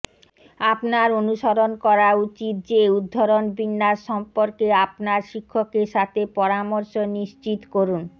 আপনি অনুসরণ করা উচিত যে উদ্ধরণ বিন্যাস সম্পর্কে আপনার শিক্ষকের সাথে পরামর্শ নিশ্চিত করুন